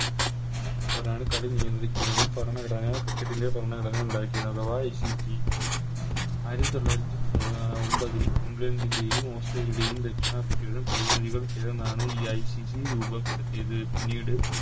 അവരാണ് കളി നിയന്ത്രിക്കുന്നതും ഭരണഘടനാ Cricket ൻറെ ഭരണഘടനാ ഉണ്ടാക്കിയതും അഥവ ICC ആയിരത്തി തൊള്ളായിരത്തി ഒമ്പതിൽ ഇഗ്ലണ്ടിന്റയും ഓസ്‌ട്രേലിയയുടെയും ദക്ഷിണാഫ്രിക്കയുടെയും പ്രതിനിധികൾ ചേർന്നാണ് ഈ ICC രൂപപ്പെടുത്തിയത് പിന്നീട്